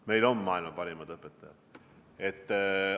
Meil on maailma parimad õpetajad!